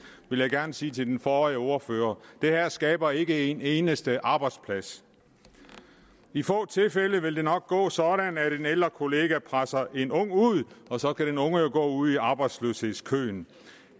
vil jeg gerne sige til den forrige ordfører det her skaber ikke en eneste arbejdsplads i få tilfælde vil det nok gå sådan at en ældre kollega presser en ung ud og så kan den unge jo gå ud i arbejdsløshedskøen